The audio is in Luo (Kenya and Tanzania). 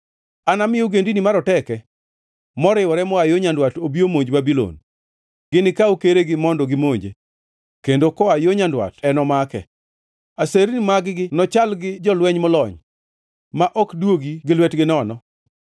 Anami ogendini maroteke moriwore moa yo nyandwat obi omonj Babulon. Ginikaw keregi mondo gimonje, kendo koa yo nyandwat enomake. Aserni mag-gi nochal gi jolweny molony, ma ok duogi gi lwetgi nono.”